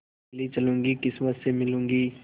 अकेली चलूँगी किस्मत से मिलूँगी